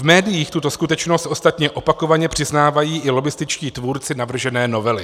V médiích tuto skutečnost ostatně opakovaně přiznávají i lobbističtí tvůrci navržené novely.